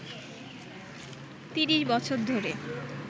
৩০ বছর ধরে